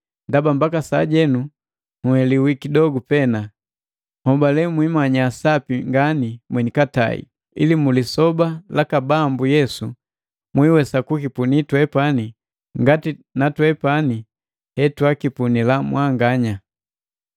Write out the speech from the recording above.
ndaba mbaka sajenu nheliwi kidogu pena. Hobale mwiimanya sapi ngani mweni katai. Ili mu lisoba laka Bambu Yesu lela mwiiwesa kukipunii twepani ngati na twepani hetwakipunila mwanganya.